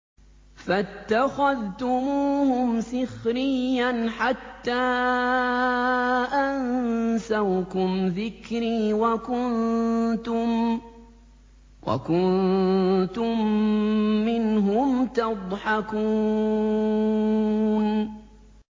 فَاتَّخَذْتُمُوهُمْ سِخْرِيًّا حَتَّىٰ أَنسَوْكُمْ ذِكْرِي وَكُنتُم مِّنْهُمْ تَضْحَكُونَ